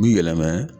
Bi yɛlɛmɛ